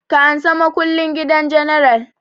Ka ansa makullin gidan general!